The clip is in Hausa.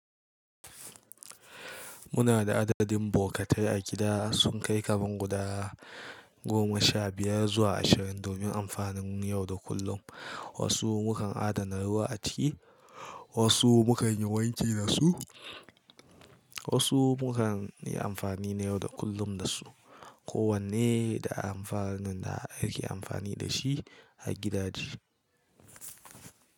Muna da adadin bokatai a gida sun kai kaman guda goma sha biyar zuwa ashirin domin amfanin yau da kullum. Wasu mukan adana ruwa a ciki, wasu mukan yi wanki da su, wasu mukan yi amfani na yau da kullum da su. Ko wanne da amfanin da ake amfani da shi a gidaje.